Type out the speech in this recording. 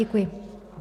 Děkuji.